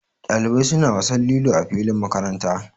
Dalibai suna wasan lilo a filin makaranta.